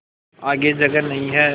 आगे जगह नहीं हैं